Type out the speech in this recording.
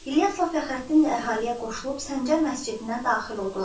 İlyasla Fəxrəddin də əhaliyə qoşulub Səncər məscidinə daxil oldular.